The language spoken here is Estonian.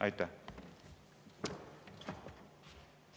Aitäh!